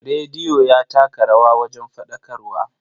Rediyo ya taka rawa wajen faɗakarwa.